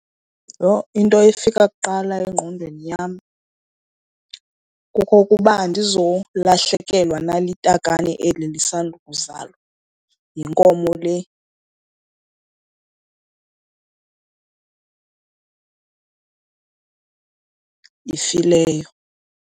Yho, into efika kuqala engqondweni yam kukokuba andizolahlekelwa na litakane eli lisandukuzalwa yinkomo le ifileyo.